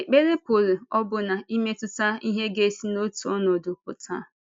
Ekpere pụrụ ọbụna imetụta ihe ga-esi n’otu ọnọdụ pụta.